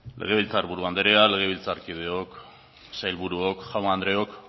legebiltzar buru andrea legebiltzarkideok sailburuok jaun andreok